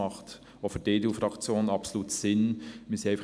Das hält auch die EDU-Fraktion für absolut sinnvoll.